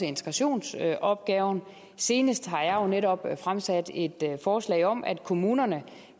integrationsopgaven senest har jeg jo netop fremsat et forslag om at kommunerne